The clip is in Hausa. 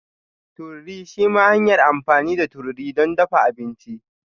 Tururi shima hanyar amfani da tururi don dafa abinci.